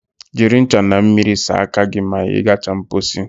Jiri ncha na mmiri saa aka gị ma ị gacha mposi